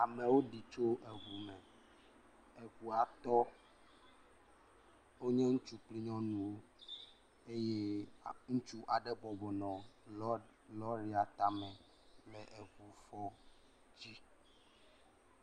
Amewo ɖi tso ŋu me. Eŋua tɔ. Wonye ŋutsu kple nyɔnuwo eye ŋutsu aɖe bɔbɔ nɔ lɔ̃ria tame le…